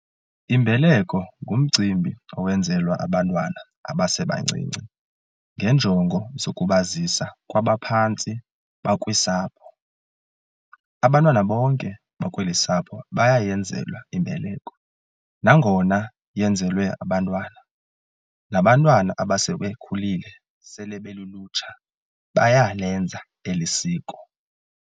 Imbeleko ngumcimbi owenzelwa abantwana abasebancinci ngenjongo zokubazisa kwabaphantsi bakwisapho.abantwana bonke bakweli sapho bayayenzelwa imbeleko. Nangona yenzelwe abantwana, nabantwana abasebekhulile sele belulutsha bayalenza elisiko.